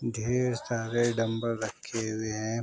ढेर सारे डम्ब्ल रखे हुए हैं।